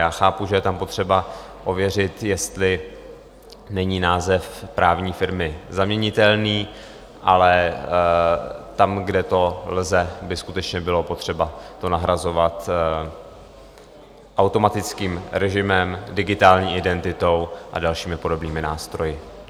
Já chápu, že je tam potřeba ověřit, jestli není název právní firmy zaměnitelný, ale tam, kde to lze, by skutečně bylo potřeba to nahrazovat automatickým režimem, digitální identitou a dalšími podobnými nástroji.